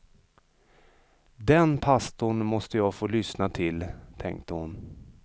Den pastorn måste jag få lyssna till, tänkte hon.